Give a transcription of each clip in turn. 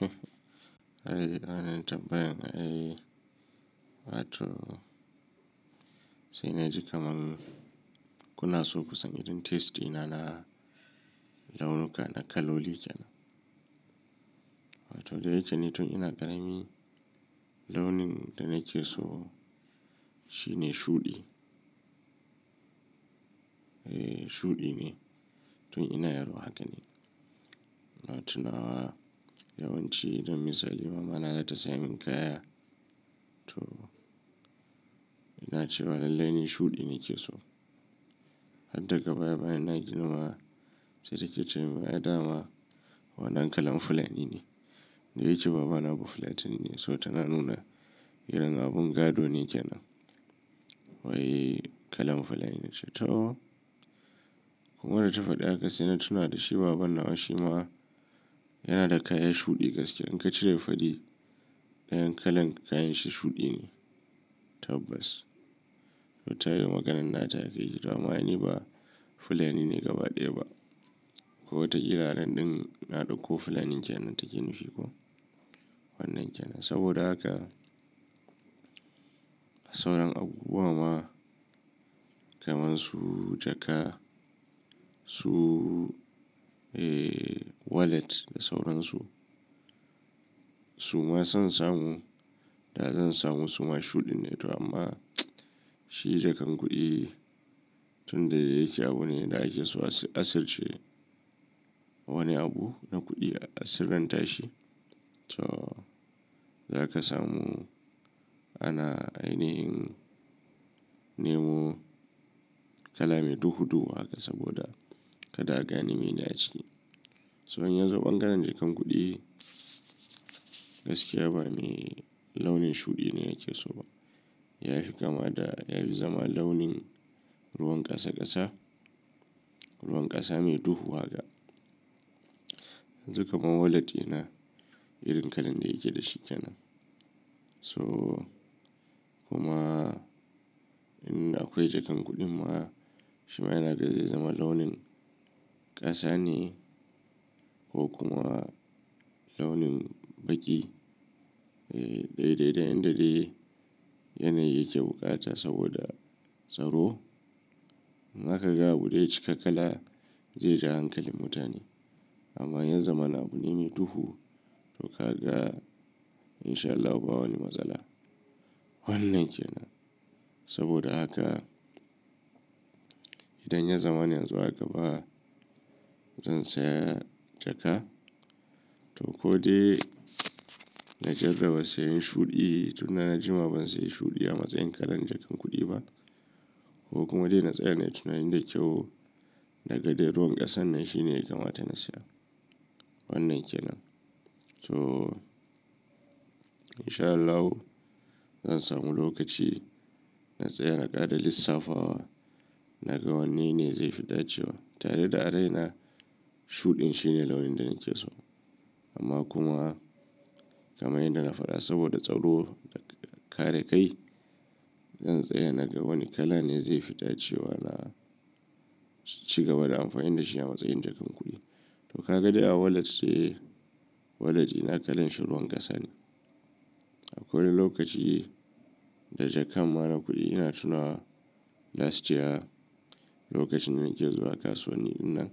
Eh, inajin tambayan ai, wato sai na ji kaman kuna so ku san irin taste ɗi na na launuka na kaloli kenan. Wato da yake ni tun ina ƙarami, launin da nake so shi ne shuɗi. Shuɗi ne, tun ina yaro haka ne. Ina tunawa, yawanci irin misali mama na za ta siyan min kaya, to ina cewa lallai ni shuɗi ni ke so. Har daga baya-bayan na girma, sai ta ke cemin, "Ai dama wannan kalan fulani ne." Da yake baba na Bafulatani ne, so tana nuna irin abun gado ne kenan. Wai kalan fulani, na ce toh! Kuma da ta faɗi haka sai na tuna da shi baban nawa shi ma, yana da kaya shuɗi gaskiya. In ka cire fari, ɗayan kalan kayan shi shuɗi ne tabbas. To ta yi maganan nata, sai nake cewa to amma ai ni ba Fulani ne gaba ɗaya ba. Ko wataƙila anan ɗin, na ɗakko Fulanin kenan take nufi koh, wannan kenan. Saboda haka sauran abubuwa ma, kaman su jaka, su, eh wallet da sauran su, su ma san samu da zan samu su ma shuɗin ne to amma, shi jakan kuɗi, tun da yake abune da ake so a asirce, wani abu na kuɗi a sirrantashi. To, za ka samu ana ainihin nemo kala mai duhu-duhu haka, saboda kada a gane meye ne aciki. So in yazo ɓangaren jakan kuɗi, gaskiya ba mai launin shuɗi ne nake so ba. Ya fi kama da, yafi zama launin ruwan ƙasa-ƙasa, ruwan ƙasa mai duhu haka. Yanzu kaman wallet ɗina, irin kalan da yake dashi kenan. To, kuma in akwai jakan kuɗin ma, shi ma yana da, zai zama launin ƙasa ne ko kuma launin baƙi. Eh, dai dai dai, in da dai, yanayi yake buƙata saboda tsaro. Zaka ga abu idan ya cika kala, zai ja hankalin mutane. Amma ya zama na abune mai duhu, to ka ga in sha Allahu ba wani matsala. Wannan kenan. Saboda haka, idan ya zama na yanzu a gaba, zan saya jaka, to ko dai na jarraba sayan shuɗi, tun da na jima ban sayi shuɗi a matsayin kalan jakar kuɗi ba. Ko kuma dai na tsaya nai tunani da kyau, naga dai ruwan ƙasan nan shi ne ya kamata na siya. Wannan kenan. To in sha Allahu zan samu lokaci, na tsaya na ƙara lissafa wa, na ga wanne ne zai fi dace wa. Tare da a raina, shuɗin shi ne launin da nake so. Amma kuma, kaman yanda na faɗa, saboda tsaro da kare kai, zan tsaya na ga wani kala ne zai fi dacewa na ci gaba da amfani da shi a matsayin jakan kuɗi. To ka ga dai a wallet dai, wallet ɗina kalan shi ruwan ƙasa ne. Akwai wani lokaci da jakan ma na kuɗi, ina tunawa last year, lokacin da nake zuwa kasuwanni ɗinnan,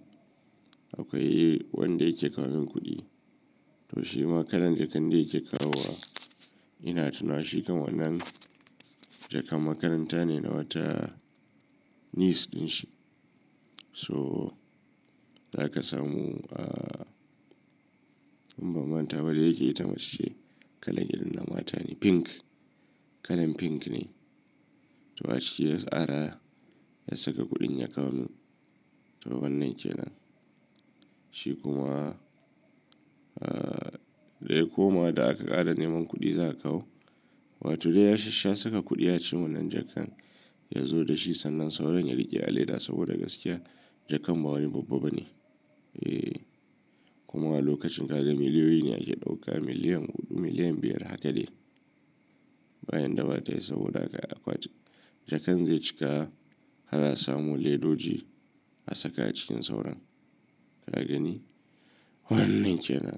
akwai wanda yake kawo min kuɗi. To shi ma kalan jakan da yake kawo wa, ina tunawa shi kan wannan jakan makaranta ne na wata niece ɗinshi, to, za ka samu, ah, in ban manta ba da yake ita mace ce, kalan irin na mata ne pink, kalan pink ne, to a ciki ya tsara, ya saka kuɗin ya kawo min. To wannan kenan. Shi kuma, ah, daya koma da aka ƙara neman kuɗi za'a kawo, wato dai ya shassha saka kuɗi a cikin wannan jakan, ya zo da shi sannan sauran ya riƙe a leda, saboda gaskiya jakan ba wani babba bane. Eh, kuma a lokacin ka ga miliyoyi ne ake ɗauka, miliyan huɗu, miliyan biyar haka dai. Ba yanda batayi, saboda aka jakan zai cika, ana samun ledoji, asaka acikin sauran. Ka gani? Wannan kenan.